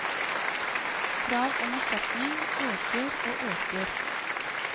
Krav om erstatning øker og øker.